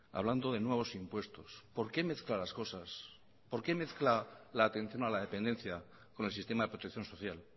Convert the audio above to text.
hablando de nuevos impuestos por qué mezcla las cosas por qué mezcla la atención a la dependencia con el sistema de protección social